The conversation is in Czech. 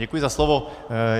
Děkuji za slovo.